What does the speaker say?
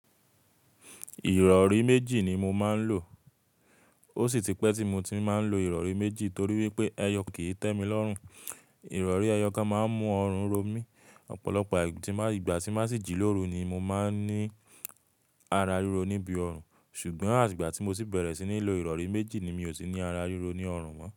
Ìrọ̀rí méjì ni mo máa ń lò. Ó sì ti pẹ́ tí mo ti máa ń lo ìrọ̀rí méjì torí wípé ẹyọ kan e tẹ́ mi lọ́rùn. Ìrọ̀rí ẹyọ kan máa ń mú ọrùn ro mí. Ọ̀pọ̀lọpọ̀ ìgbà tí n ba sì jí lóru ni mo máa ń ní ara ríro níbi ọrùn. Ṣùgbọ́n ati igba tí mo ti bẹ̀rẹ̀ sí ní lo ìrọ̀rí méjì ni mi ò ti ní ara ríro ní ọrùn mọ́.